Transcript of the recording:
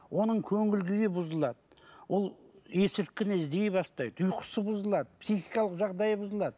оның көңіл күйі бұзылады ол есірткіні іздей бастайды ұйқысы бұзылады психикалық жағдайы бұзылады